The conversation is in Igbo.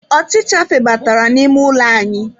Ọchịcha febatara n'ime ụlọ anyị.